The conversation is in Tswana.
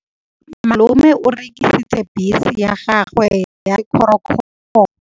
Malome o rekisitse bese ya gagwe ya sekgorokgoro.